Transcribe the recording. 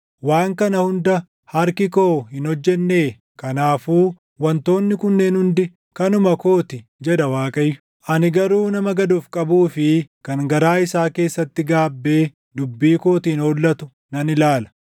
Waan kana hunda harki koo hin hojjennee? Kanaafuu wantoonni kunneen hundi kanuma koo ti” jedha Waaqayyo. “Ani garuu nama gad of qabuu fi kan garaa isaa keessatti gaabbee dubbii kootiin hollatuu nan ilaala.